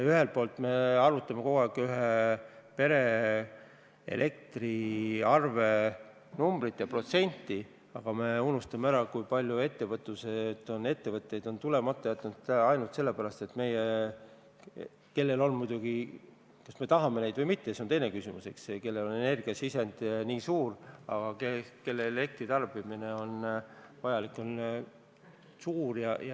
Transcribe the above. Ühelt poolt me arutame kogu aeg ühe pere elektriarve numbrit ja protsenti, aga unustame ära, kui palju ettevõtteid on siia tulemata jätnud – kas me tahame neid või mitte, see on teine küsimus, eks ole – ainult sellepärast, et nende energiasisend on suur ja elektritarbimine on suur.